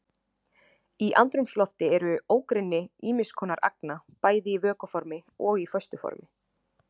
Í andrúmslofti eru ógrynni ýmis konar agna bæði í vökva formi og í föstu formi.